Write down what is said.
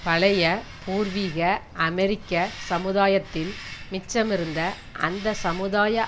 பழைய பூர்வீக அமெரிக்க சமுதாயத்தில் மிச்சமிருந்த அந்த சமுதாய